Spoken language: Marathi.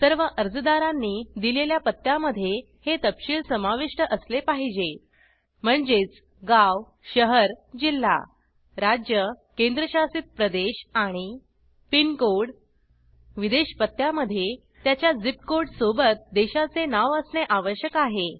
सर्व अर्जदारांनी दिलेल्या पत्त्या मध्ये हे तपशिल समाविष्ट असले पाहिजे म्हणजेच गाव शहर जिल्हा राज्य केंद्रशासित प्रदेश आणि पिनकोड विदेश पत्त्या मध्ये त्याच्या झिप कोड सोबत देशाचे नाव असणे आवश्यक आहे